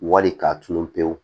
Wali k'a tunun pewu